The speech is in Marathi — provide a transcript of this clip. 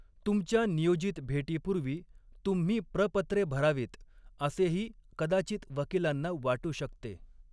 तुमच्या नियोजित भेटीपूर्वी तुम्ही प्रपत्रे भरावीत असेही कदाचित वकिलांना वाटू शकते.